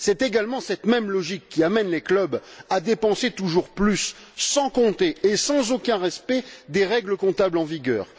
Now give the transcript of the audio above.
C'est également cette même logique qui amène les clubs à dépenser toujours plus sans compter et sans aucun respect des règles comptables en vigueur.